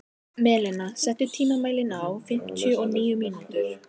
Malena, stilltu tímamælinn á fimmtíu og níu mínútur.